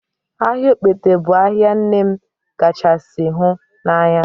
Ahịa Ogbete bụ ahịa nne m kachasị hụ n'anya